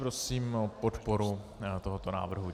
Prosím o podporu tohoto návrhu.